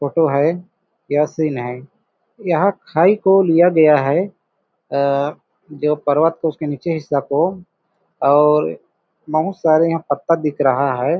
Photo है या scene है यहां खाई को लिया गया है जो पर्वत को उसके नीचे हिस्सा को और बहुत सारे यहां पत्ता दिख रहा है।